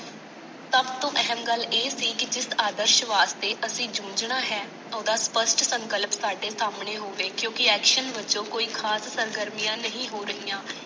ਸਭ ਤੋਂ ਅਹਿਮ ਗੱਲ ਇਹ ਸੀ ਕਿ ਜਿਸ ਆਦਰਸ਼ਵਾਦ ਤੇ ਅਸੀਂ ਜੂੰਝਣਾ ਹੈ। ਓਹਦਾ ਸਪਸ਼ਟ ਸੰਕਲਪ ਸਾਡੇ ਸਾਹਮਣੇ ਹੋਵੇ ਕਿਉਂਕਿ action ਵਜੋਂ ਕੋਈ ਖਾਸ ਸਰਗਰਮੀਆਂ ਨਹੀਂ ਹੋ ਰਹੀਆਂ।